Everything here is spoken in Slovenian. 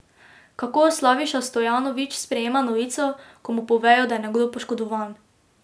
Kako Slaviša Stojanović sprejme novico, ko mu povejo, da je nekdo poškodovan?